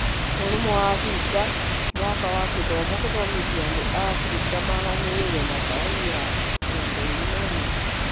Ũrũmwe wa Africa: Mwaka wa githomm- Gũthomithia andũ a Africa maganĩrĩirwo na Karine ya 21